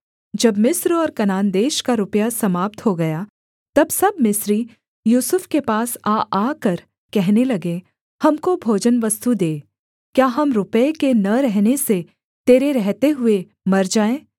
जब मिस्र और कनान देश का रुपया समाप्त हो गया तब सब मिस्री यूसुफ के पास आ आकर कहने लगे हमको भोजनवस्तु दे क्या हम रुपये के न रहने से तेरे रहते हुए मर जाएँ